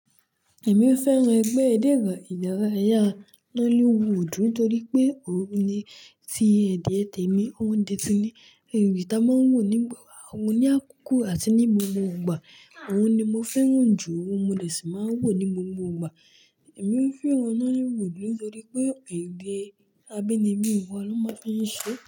Èmi fẹ́ràn ẹgbẹ́ eré ìdárayá nollywood nítorí pé òun ni tí ẹ̀dẹ̀ temi, òun náà ni, èyí tí a máa ń wò nígbà wo ní àkókò àti ní gbogbo ìgbà, òun ni mo fẹ́ràn jù, òun mo lè sì máa ń wò ní gbogbo ìgbà. Èmi fẹ́ràn nollywood nítorí pé ẹ̀dẹ̀ àbínibí wa ni wón máa ń fi ń se.